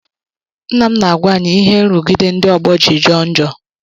Nna m na-agwa anyị ihe nrụgide ndị ọgbọ jiri jọọ njọ